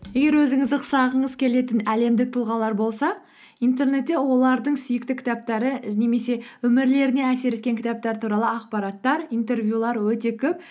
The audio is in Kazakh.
егер өзіңіз ұқсағыңыз келетін әлемдік тұлғалар болса интернетте олардың сүйікті кітаптары немесе өмірлеріне әсер еткен кітаптар туралы ақпараттар интервьюлер өте көп